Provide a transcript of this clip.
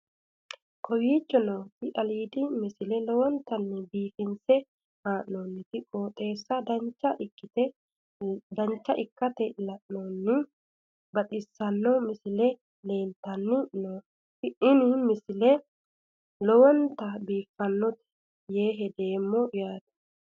kowicho nooti aliidi misile lowonta biifinse haa'noonniti qooxeessano dancha ikkite la'annohano baxissanno misile leeltanni nooe ini misile lowonta biifffinnote yee hedeemmo yaate